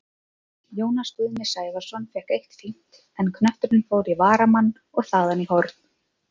Jónas Guðni Sævarsson fékk eitt fínt, en knötturinn fór í varnarmann og þaðan í horn.